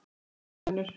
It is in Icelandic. Vertu sæl, amma Unnur.